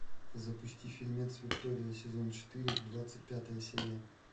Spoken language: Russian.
запусти фильмец виктория сезон четыре двадцать пятая серия